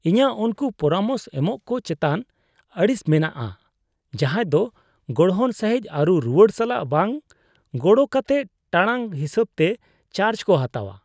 ᱤᱧᱟᱹᱜ ᱩᱱᱠᱩ ᱯᱚᱨᱟᱢᱚᱥ ᱮᱢᱚᱜᱠᱚ ᱪᱮᱛᱟᱱ ᱟᱹᱲᱤᱥ ᱢᱮᱱᱟᱜᱼᱟ ᱡᱟᱦᱟᱭ ᱫᱚ ᱜᱚᱲᱦᱚᱱ ᱥᱟᱹᱦᱤᱡ ᱟᱹᱨᱩ ᱨᱩᱣᱟᱹᱲ ᱥᱟᱞᱟᱜ ᱵᱟᱝ ᱜᱚᱲ ᱠᱟᱛᱮ ᱴᱟᱲᱟᱝ ᱦᱤᱥᱟᱹᱵ ᱛᱮ ᱪᱟᱨᱡ ᱠᱚ ᱦᱟᱛᱟᱣᱟ ᱾